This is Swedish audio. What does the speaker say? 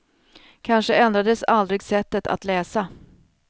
Kanske ändrades aldrig sättet att läsa.